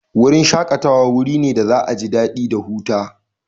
Wurin shakatawa wuri ne da za'a ji dadi da huta.